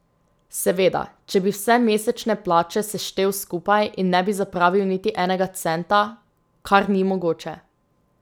Seveda, če bi vse mesečne plače seštel skupaj in ne bi zapravil niti enega centa, kar ni mogoče.